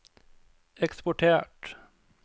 eksportert